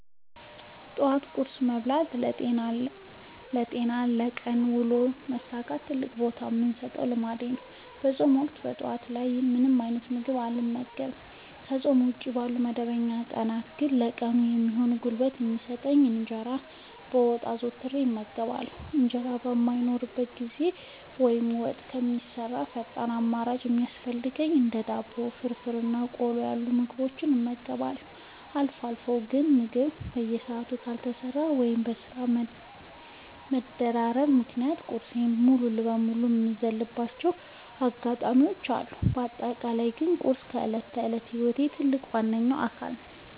ጠዋት ቁርስ መብላት ለጤናዬና ለቀን ውሎዬ መሳካት ትልቅ ቦታ የምሰጠው ልምዴ ነው። በፆም ወቅት ጠዋት ላይ ምንም አይነት ምግብ አልመገብም። ከፆም ውጪ ባሉ መደበኛ ቀናት ግን ለቀኑ የሚሆን ጉልበት የሚሰጠኝን እንጀራ በወጥ አዘውትሬ እመገባለሁ። እንጀራ በማይኖርበት ጊዜ ወይም ወጥ እስከሚሰራ ፈጣን አማራጭ ሲያስፈልገኝ እንደ ዳቦ፣ ፍርፍር እና ቆሎ ያሉ ምግቦችን እመገባለሁ። አልፎ አልፎ ግን ምግብ በሰዓቱ ካልተሰራ ወይም በስራ መደራረብ ምክንያት ቁርሴን ሙሉ በሙሉ የምዘልባቸው አጋጣሚዎች አሉ። በአጠቃላይ ግን ቁርስ የዕለት ተዕለት ህይወቴ ትልቅ እና ዋነኛ አካል ነው።